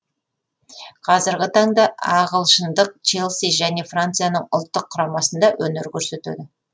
қазіргі таңда ағылшындық челси және францияның ұлттық құрамасында өнер көрсетеді